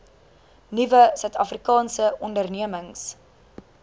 nuwe suidafrikaanse ondernemings